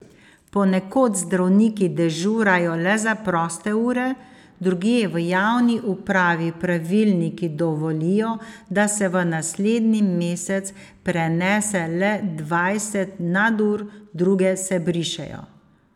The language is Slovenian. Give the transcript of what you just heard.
Ponekod zdravniki dežurajo le za proste ure, drugje v javni upravi pravilniki dovolijo, da se v naslednji mesec prenese le dvajset nadur, druge se brišejo.